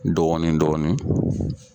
Dɔɔni dɔɔni.